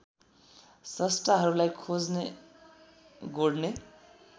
स्रष्टाहरूलाई खोज्ने गोड्ने